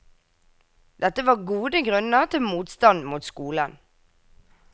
Dette var gode grunner til motstand mot skolen.